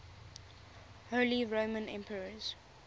holy roman emperors